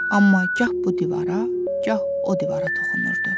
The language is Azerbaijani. Amma gah bu divara, gah o divara toxunurdu.